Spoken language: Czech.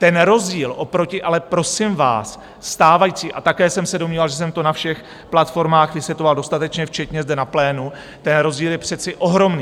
Ten rozdíl oproti - ale, prosím vás, stávající, a také jsem se domníval, že jsem to na všech platformách vysvětloval dostatečně včetně zde na plénu - ten rozdíl je přece ohromný.